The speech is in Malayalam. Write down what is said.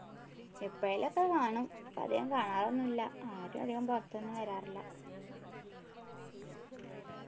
എപ്പോഴേലും ഒക്കെ കാണും അധികം കാണാറൊന്നുല്ല ആരും അധികം പുറത്തൊന്നും വരാറില്ല